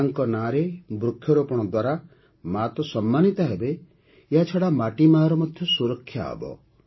ମା'ଙ୍କ ନାମରେ ବୃକ୍ଷରୋପଣ ଦ୍ୱାରା ମାଆ ତ ସମ୍ମାନିତ ହେବେ ଏହାଛଡ଼ା ମାଟି ମାଆର ମଧ୍ୟ ସୁରକ୍ଷା ହେବ